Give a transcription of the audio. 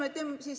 On küll.